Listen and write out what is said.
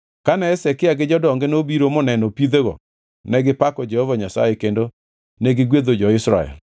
Kane Hezekia gi jodonge nobiro moneno pidhego negipako Jehova Nyasaye kendo negigwedho jo-Israel.